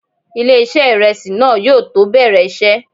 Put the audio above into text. Ilé-iṣẹ́ ìrẹsì náà yóò tó bẹ̀rẹ̀ iṣẹ́.